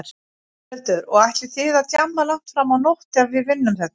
Þórhildur: Og ætlið þið að djamma langt fram á nótt ef við vinnum þetta?